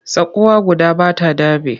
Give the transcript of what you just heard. Tsakuwa guda ba ta daɓe.